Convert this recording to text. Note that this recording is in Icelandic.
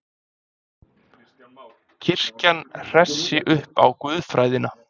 Kirkjan hressi upp á guðfræðina